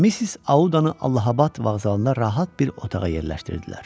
Missis Audanı Allahabəd vağzalında rahat bir otağa yerləşdirdilər.